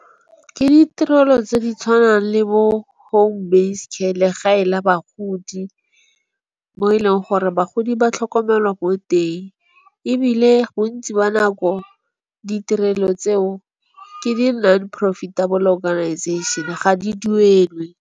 Ke ditirelo tse di tshwanang le bo home based care, legae la bagodi mo e leng gore bagodi ba tlhokomelwa ko teng. Ebile bontsi ba nako ditirelo tseo ke di non profitable organization-e ga di duelwe.